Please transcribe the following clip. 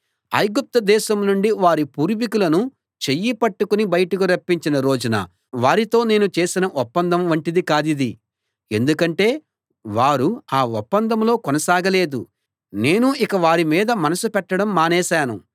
ఐగుప్తు దేశం నుండి వారి పూర్వీకులను చెయ్యి పట్టుకుని బయటకు రప్పించిన రోజున వారితో నేను చేసిన ఒప్పందం వంటిది కాదిది ఎందుకంటే వారు ఆ ఒప్పందంలో కొనసాగలేదు నేనూ ఇక వారిమీద మనసు పెట్టడం మానేశాను